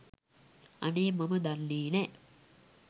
අනේ මම දන්නේ නෑ